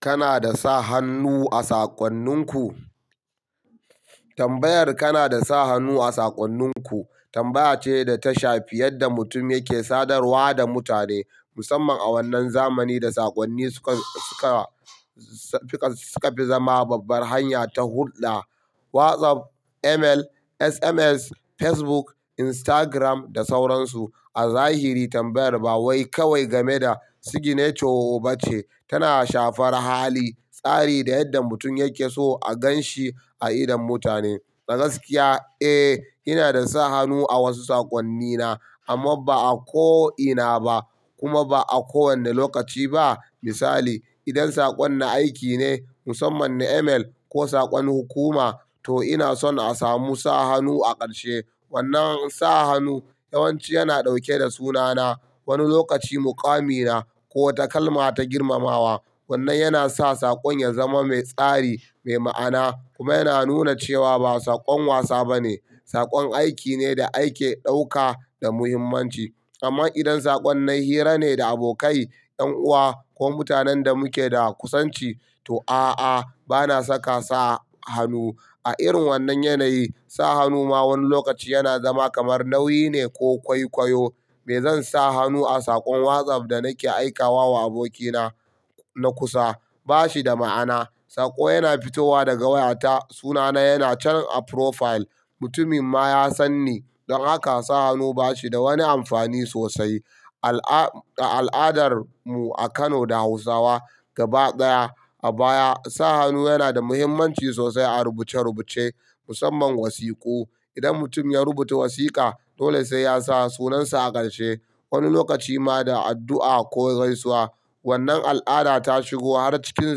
Kana da sa hannu a saƙonninku? Tambayar "kana da sa hannu a saƙonninku" tambaya ce da ta shafi yadda mutum yake sadarwa da mutane, musamman a wannan zamani da saƙonni suka, suka, suka fi zama babbar hanya ta hulɗa. WhatsApp, email, SMS, Facebook, Instagram da sauransu. A zahiri tambayar ba wai kawai game da signature ba ce, tana shafar hali, tsari da yadda mutum yake so a gan shi a idon mutane. Dagaskiya, eh, ina da sa hannu a wasu saƙonnina amma ba a ko ina ba kuma ba a kowane lokaci ba. Misali, idan saƙon na aiki ne, musamman ne email ko saƙon hukuma, to ina son a samu sa hannu a ƙarshe. Wannan sa hannu yawanci yana ɗauke da sunana, wani lokaci muƙamina ko wata kalma ta girmamawa. Wannan yana sa saƙon ya zama mai tsari, mai ma'ana kuma yana nuna cewa ba saƙon wasa ba ne, saƙon aiki ne da ake ɗauka da muhimmanci. Amma idan saƙon nan hira ne da abokai, 'yan uwa ko mutanen da muke da kusanci, to a'a, bana saka sa hannu. A irin wannan yanayi, sa hannu ma wani lokaci yana zama kamar nauyi ne ko kwaikwayo. Me zan sa hannu a saƙon WhatsApp da nake aika wa abokina na kusa? Ba shi da ma'ana. Saƙo yana fitowa daga wayata, sunana yana can a profile, mutumin ma ya san ni. Don haka sa hannu ba shi da wani amfani sosai. A al'adar mu a Kano da Hausawa gaba ɗaya, a baya sa hannu yana da muhimmanci sosai a rubuce rubuce, musamman wasiƙu. Idan mutum ya rubuta wasiƙa, dole sai ya sa sunansa a ƙarshe. Wani lokaci ma da addu'a ko gaisuwa. Wannan al'ada ta shigo har cikin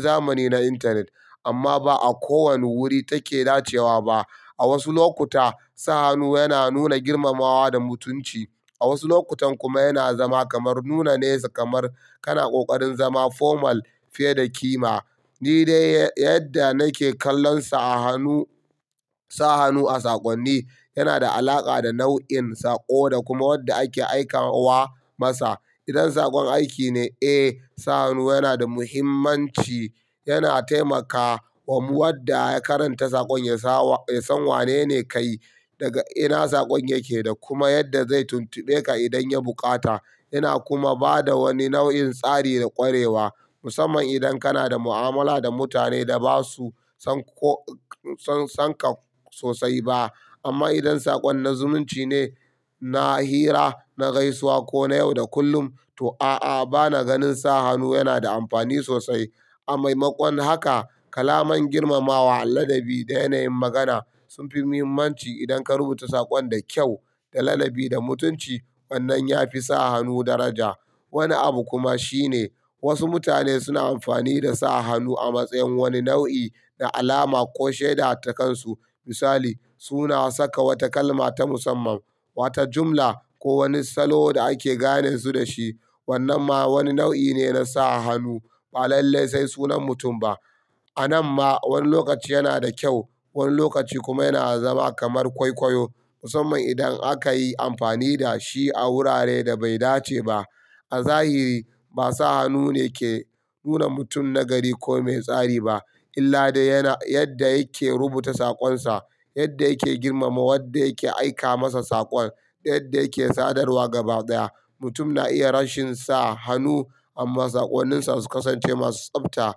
zamani na intanet amma ba a kowane wuri take dacewa ba. A wasu lokuta, sa hannu yana nuna girmamawa da mutunci, a wasu lokutan kuma yana zama kamar nuna nesa, kamar kana ƙoƙarin zama formal fiye da kima. Ni dai yadda nake kallon sa hannu, sa hannu a saƙonni yana da alaƙa da nau'in saƙo da kuma wadda ake aika wa masa. Idan saƙon aiki ne, eh, sa hannu yana da muhimmanci. Yana taimakawa wadda ya karanta saƙon ya san wanene kayi, daga ina saƙon yake da kuma yadda zai tuntube ka idan ya buƙata. Yana kuma ba da wani nau'in tsari da ƙwarewa, musamman idan kana da mu'amala da mutane da ba su san ka sosai ba. Amma idan saƙon na zumunci ne, na hira, na gaisuwa ko na yau da kullum, to a'a, bana ganin sa hannu yana da amfani sosai. A maimakon haka, kalaman girmamawa, ladabi da yanayin magana sun fi muhimmanci. Idan ka rubuta saƙon da kyau, da ladabi, da mutunci, wannan ya fi sa hannu daraja. Wani abu kuma shine, wasu mutane suna amfani da sa hannu a matsayin wani nau'i na alama ko shaida ta kansu. Misali, suna saka wata kalma ta musamman, wata jumla ko wani salo da ake gane su da shi. Wannan ma wani nau'i ne na sa hannu, ba lallai sai sunan mutum ba. A nan ma wani lokaci yana da kyau, wani lokaci kuma yana zama kamar kwaikwayo, musamman idan aka yi amfani da shi a wurare da bai dace ba. A zahiri, ba sa hannu ne ke nuna mutum nagari ko mai tsari ba, illa da yana, yadda yake rubuta saƙonsa, yadda yake girmama wadda yake aika masa saƙon da yadda yake sadarwa gaba ɗaya. Mutum na iya rashin sa hannu amma saƙoninsa su ƙasance masu tsafta,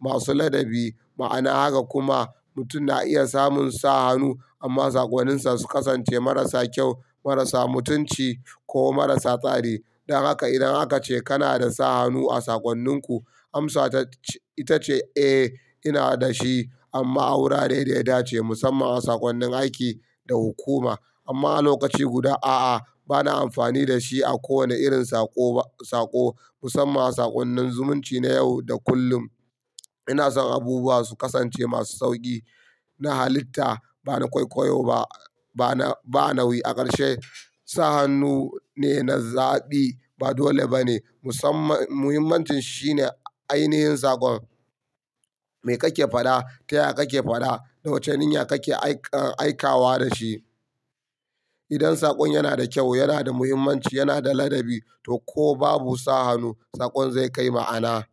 masu ladabi. Ma'ana haka kuma, mutum na iya samun sa hannu amma saƙoninsa su ƙasance marasa kyau, marasa mutunci ko marasa tsari. Don haka idan aka ce kana da sa hannu a saƙonninku, amsa ita ce, "Eh, ina da shi amma a wurare da ya dace, musamman a saƙonnin aiki da hukuma. Amma a lokaci guda, a'a, bana amfani da shi a kowane irin saƙo ba, saƙo, musamman a saƙonnin zumunci na yau da kullum. Ina son abubuwa su ƙasance masu sauƙi, na halitta, ba na kwaikwayo ba, ba na, ba nauyi a ƙarshe. Sa hannu ne na zaɓi ba dole ba ne. Musamman, muhimmancin shi ne ainihin saƙon. Me kake faɗa, ta ya kake faɗa da wace niyya kake aika, aika wa da shi. Idan saƙon yana da kyau, yana da muhimmanci, yana da ladabi, to ko babu sa hannu, saƙon zai kai ma'ana.